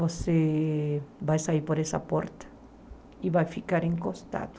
Você vai sair por essa porta e vai ficar encostado.